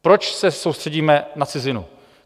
Proč se soustředíme na cizinu?